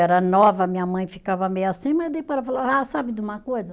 Era nova, minha mãe ficava meio assim, mas depois ela falou, ah, sabe de uma coisa?